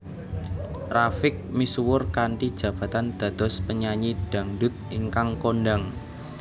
Rafiq misuwur kanthi jabatan dados penyanyi dhangdhut ingkang kondhang